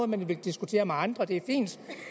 man vil diskutere med andre det